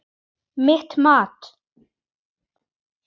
Styrmir var prestur að vígslu.